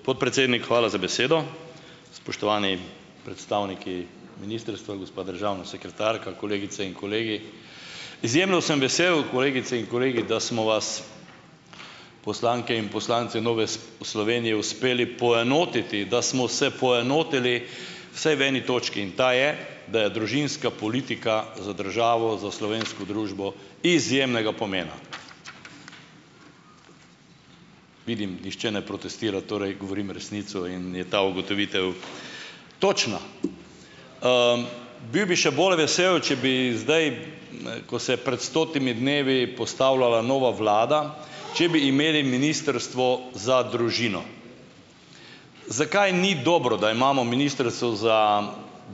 Podpredsednik, hvala za besedo. Spoštovani predstavniki ministrstva, gospa državna sekretarka, kolegice in kolegi! Izjemno sem vesel, kolegice in kolegi, da smo vas poslanke in poslanci Nove Slovenije uspeli poenotiti, da smo vse poenotili vsaj v eni točki in ta je, da je družinska politika za državo, za slovensko družbo izjemnega pomena. Vidim, nihče ne protestira, torej govorim resnico in je ta ugotovitev točna. Bil bi še bolj vesel, če bi zdaj, ne ko se je pred stotimi dnevi postavljala nova vlada, če bi imeli ministrstvo za družino. Zakaj ni dobro, da imamo ministrstvo za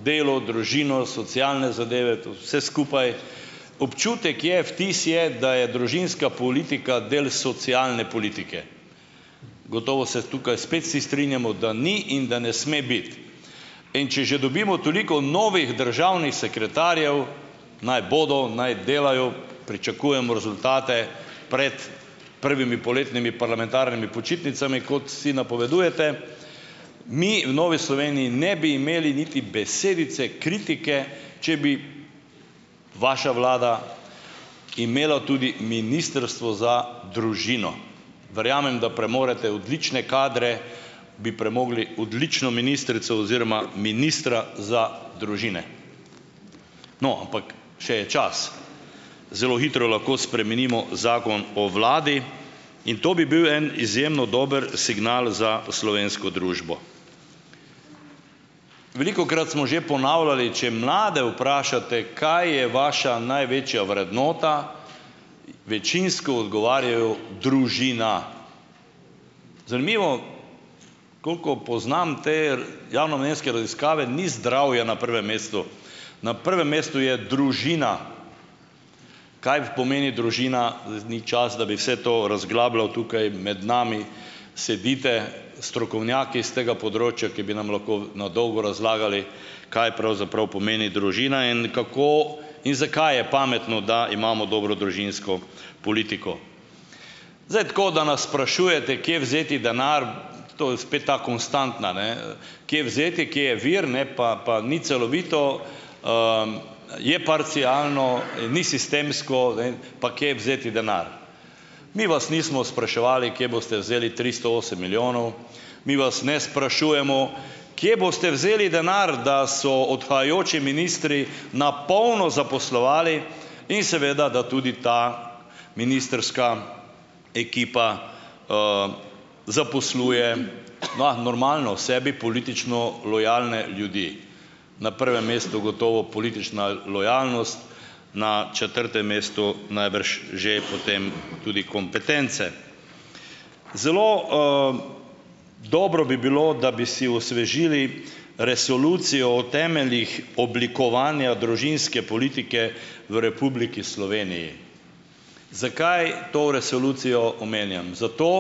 delo, družino, socialne zadeve, to vse skupaj? Občutek je, vtis je, da je družinska politika del socialne politike. Gotovo se tukaj spet vsi strinjamo, da ni in da ne sme biti. In če že dobimo toliko novih državnih sekretarjev naj bodo, naj delajo, pričakujemo rezultate pred prvimi poletnimi parlamentarnimi počitnicami, kot vsi napovedujete. Mi v Novi Sloveniji ne bi imeli niti besedice kritike, če bi vaša vlada imela tudi ministrstvo za družino. Verjamem, da premorete odlične kadre, bi premogli odlično ministrico oziroma ministra za družine. No, ampak še je čas, zelo hitro lahko spremenimo zakon o vladi. In to bi bil en izjemno dober signal za slovensko družbo. Velikokrat smo že ponavljali, če mlade vprašate, kaj je vaša največja vrednota, večinsko odgovarjajo: družina. Zanimivo koliko poznam te javnomnenjske raziskave, ni zdravje na prvem mestu. Na prvem mestu je družina. Kaj pomeni družina, zdaj ni čas, da bi vse to razglabljal. Tukaj med nami sedite strokovnjaki s tega področja, ki bi nam lahko na dolgo razlagali, kaj pravzaprav pomeni družina in kako in zakaj je pametno, da imamo dobro družinsko politiko. Zdaj tako, da nas sprašujete, kje vzeti denar, to je spet ta konstantna, ne, kje vzeti, kje je vir, ne pa, pa ni celovito, je parcialno, ni sistemsko, ne, pa kje vzeti denar. Mi vas nismo spraševali, kje boste vzeli tristo osem milijonov, mi vas ne sprašujemo, kje boste vzeli denar, da so odhajajoči ministri na polno zaposlovali in seveda da tudi ta ministrska ekipa zaposluje. Ma normalno, sebi politično lojalne ljudi. Na prvem mestu gotovo politična lojalnost, na četrtem mestu najbrž že potem tudi kompetence. Zelo, dobro bi bilo, da bi si osvežili resolucijo o temeljih oblikovanja družinske politike v Republiki Sloveniji. Zakaj to resolucijo omenjam? Zato,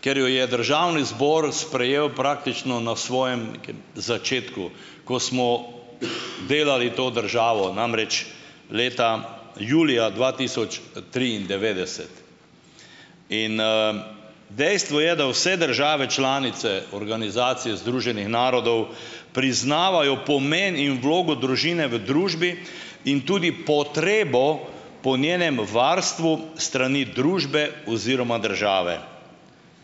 ker jo je državni zbor sprejel praktično na svojem nekem začetku, ko smo delali to državo. Namreč, leta julija dva tisoč triindevetdeset in, dejstvo je, da vse države članice Organizacije združenih narodov priznavajo pomen in vlogo družine v družbi in tudi potrebo po njenem varstvu s strani družbe oziroma države.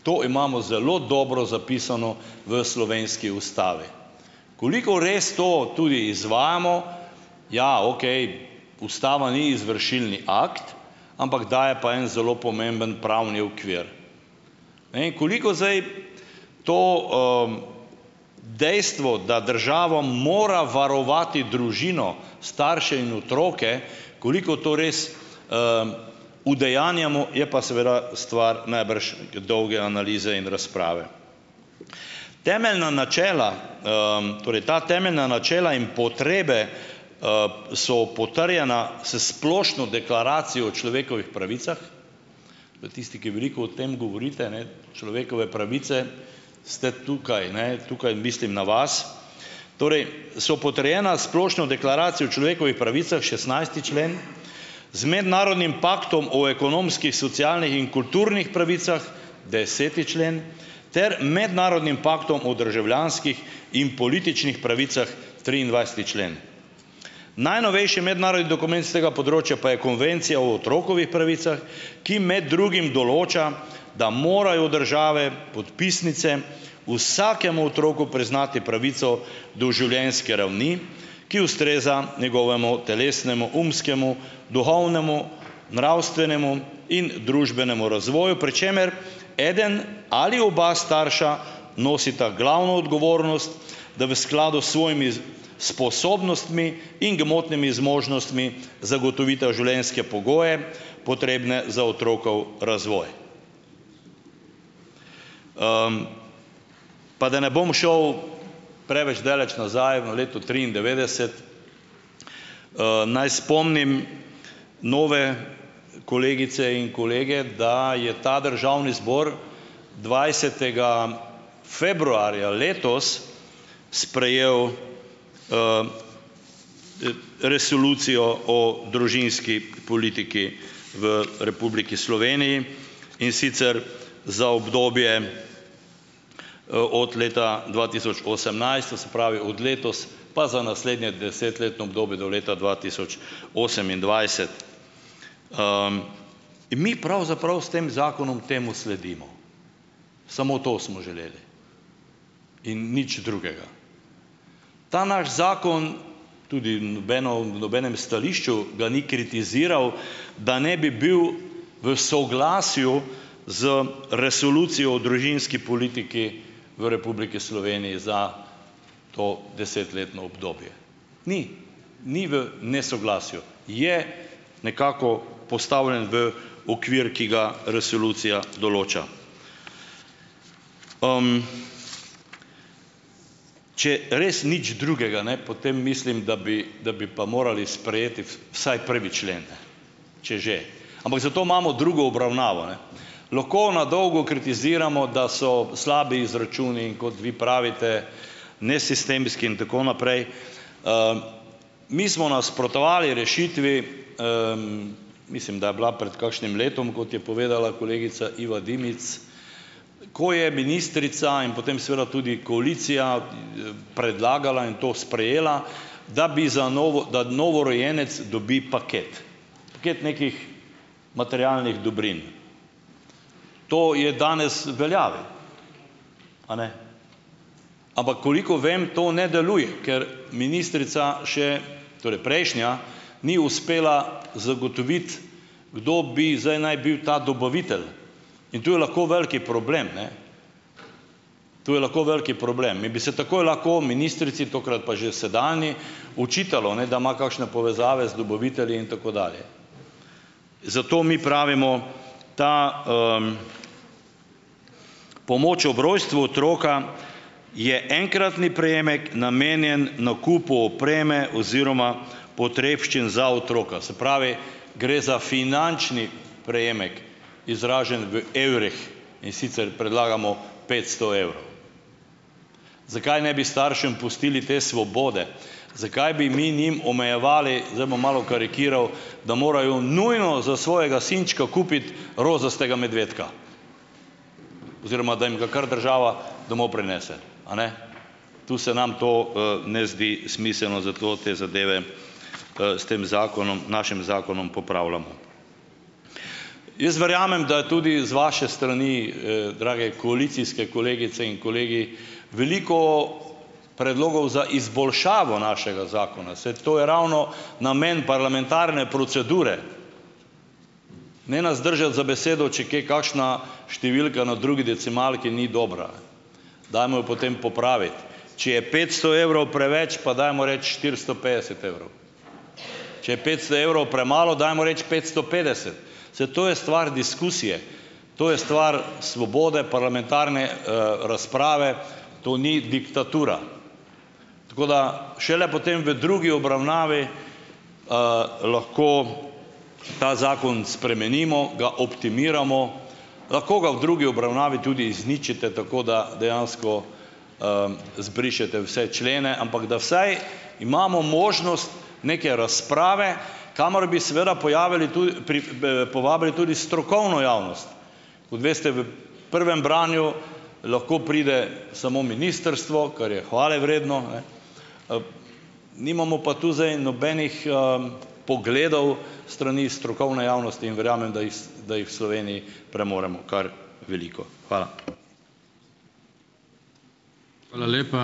To imamo zelo dobro zapisano v slovenski ustavi. Koliko res to tudi izvajamo, ja, okej, ustava ni izvršilni akt, ampak daje pa en zelo pomemben pravni okvir. Ne, in koliko zdaj to, dejstvo, da državo mora varovati družino, starše in otroke, koliko to res udejanjamo, je pa seveda stvar najbrž neke dolge analize in razprave. Temeljna načela, torej ta temeljna načela in potrebe, so potrjena s Splošno deklaracijo o človekovih pravicah, to tisti, ki veliko o tem govorite, ne, - človekove pravice, ste tukaj, ne? Tukaj mislim na vas. Torej so potrjena s Splošno deklaracijo o človekovih pravicah, šestnajsti člen, z mednarodnim paktom o ekonomskih, socialnih in kulturnih pravicah, deseti člen ter mednarodnim paktom o državljanskih in političnih pravicah, triindvajseti člen. Najnovejši mednarodni dokument s tega področja pa je Konvencija o otrokovih pravicah, ki med drugim določa, da morajo države podpisnice, vsakemu otroku priznati pravico do življenjske ravni, ki ustreza njegovemu telesnemu, umskemu, duhovnemu, nravstvenemu in družbenemu razvoju, pri čemer eden ali oba starša nosita glavno odgovornost, da v skladu s svojimi sposobnostmi in gmotnimi zmožnostmi, zagotovita življenjske pogoje, potrebne za otrok razvoj. Pa da ne bom šel preveč daleč nazaj v leto triindevetdeset, naj spomnim nove kolegice in kolege, da je ta državni zbor dvajsetega februarja letos sprejel resolucijo o družinski politiki v Republiki Sloveniji, in sicer za obdobje, od leta dva tisoč osemnajst, to se pravi od letos pa za naslednje desetletno obdobje do leta dva tisoč osemindvajset. Mi pravzaprav s tem zakonom temu sledimo, samo to smo želeli in nič drugega. Ta naš zakon, tudi v nobeno v nobenem stališču ga ni kritiziral, da ne bi bil v soglasju z resolucijo o družinski politiki v Republiki Sloveniji za to desetletno obdobje - ni, ni v nesoglasju. Je nekako postavljen v okvir, ki ga resolucija določa. Če res nič drugega ne, potem mislim, da bi da bi pa morali sprejeti vsaj prvi člen, če že, ampak za to imamo drugo obravnavo, ne. Lahko na dolgo kritiziramo, da so slabi izračuni, in kot vi pravite - nesistemski in tako naprej. Mi smo nasprotovali rešitvi, mislim, da je bila pred kakšnim letom, kot je povedala kolegica Iva Dimic, ko je ministrica in potem seveda tudi koalicija, predlagala in to sprejela, da bi za da novorojenec dobi paket, paket nekih materialnih dobrin. To je danes v veljavi, a ne? Ampak koliko vem, to ne deluje, ker ministrica, še torej prejšnja, ni uspela zagotoviti, kdo bi zdaj naj bil ta dobavitelj, in to je lahko velik problem, ne. To je lahko velik problem in bi se takoj lahko ministrici, tokrat pa že sedanji, očitalo, ne, da ima kakšne povezave z dobavitelji in tako dalje. Zato mi pravimo - ta pomoč ob rojstvu otroka, je enkratni prejemek namenjen nakupu opreme oziroma potrebščin za otroka. Se pravi, gre za finančni prejemek izražen v evrih, in sicer predlagamo petsto evrov. Zakaj ne bi staršem pustili te svobode? Zakaj bi mi njim omejevali, zdaj bom malo karikiral, da morajo nujno za svojega sinčka kupiti rozastega medvedka? Oziroma da jim ga kar država domov prinese. A ne. Tu se nam to, ne zdi smiselno, zato te zadeve, s tem zakonom našim zakonom popravljamo. Jaz verjamem, da je tudi z vaše strani, drage koalicijske kolegice in kolegi, veliko predlogov za izboljšavo našega zakona. Saj to je ravno namen parlamentarne procedure. Ne nas držati za besedo, če je kje kakšna številka na drugi decimalki ni dobra. Dajmo jo potem popraviti. Če je petsto evrov preveč, pa dajmo reči štiristo petdeset evrov. Če je petsto evrov premalo, dajmo reči petsto petdeset. Saj to je stvar diskusije. To je stvar svobode parlamentarne, razprave. To ni diktatura. Tako da - šele potem v drugi obravnavi, lahko ta zakon spremenimo, ga optimiramo, lahko ga v drugi obravnavi tudi izničite, tako da dejansko, zbrišete vse člene, ampak da vsaj imamo možnost neke razprave, kamor bi seveda pojavili tudi povabili tudi strokovno javnost. Kot veste, v prvem branju lahko pride samo ministrstvo - kar je hvale vredno, ne - nimamo pa tu zdaj nobenih, pogledal s strani strokovne javnosti. In verjamem, da iz da jih Sloveniji premoremo kar veliko. Hvala.